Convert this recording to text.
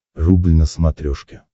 рубль на смотрешке